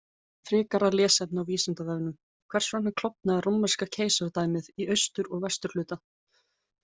Frekara lesefni á Vísindavefnum: Hvers vegna klofnaði Rómverska keisaradæmið í austur- og vesturhluta?